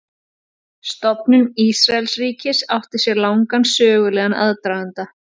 Stofnun Ísraelsríkis átti sér langan sögulegan aðdraganda.